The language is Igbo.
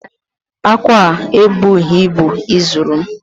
Akwa a ebuhi ibu izuru m